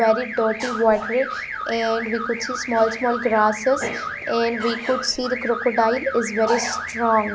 very dirty and we could see small small grasses and we could see the crocodile is very strong.